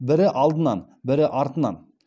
бірі алдынан бірі артынан